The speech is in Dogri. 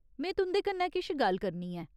में तुं'दे कन्नै किश गल्ल करनी ऐ।